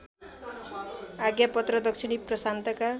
आज्ञापत्र दक्षिणी प्रशान्तका